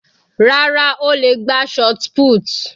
Rárá, ó le gbá shotput.